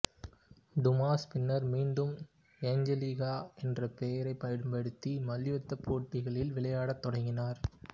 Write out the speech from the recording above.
Dumas பின்னர் மீண்டும் Angelica என்ற பெயரைப் பயன்படுத்தி மல்யுத்தப்போட்டிகளில் விளையாடத் தொடங்கினார்